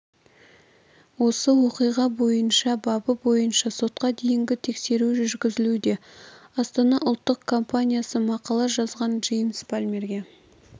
осы оқиға бойынша бабы бойынша сотқа дейінгі тексеру жүргізілуде астана ұлттық компаниясы мақала жазған джеймс палмерге